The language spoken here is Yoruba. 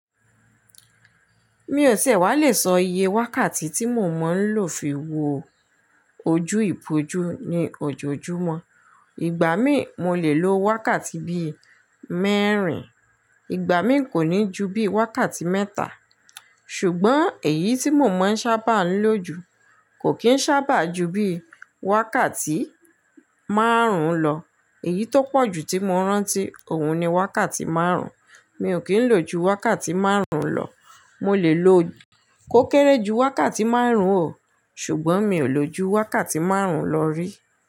Mi ò ti ẹ wá lè sọ iye wákàtí tí mo mọ ń lò fi wo ojú ìpòjù ní ojoojúmọ́. Ìgbà mí mo lè lo wákàtí bí mẹ́rin, ìgbà mí kò ní ju bí wákàtí mẹ́ta. Ṣùgbọ́n èyí tí mo mọ ń sábà ń lò jù kò kí ń sábà ju bí wákàtí márùn-ún lọ. Èyí tó pọ̀ ju tí mo rántí òun ni wákàtí márùn-ún. Mi ò kí ń lò ju wákàtí márùn-ún lọ. Mo lè lo kó kéré ju wákàtí márùn-ún ò, ṣùgbọ́n mi ò lò ju wákàtí márùn-ún lọ rí.